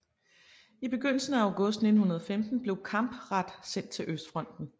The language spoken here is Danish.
I begyndelsen af august 1915 blev Campradt sendt til Østfronten